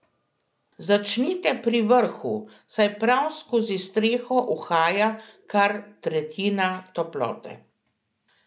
Začnite pri vrhu, saj prav skozi streho uhaja kar tretjina toplote.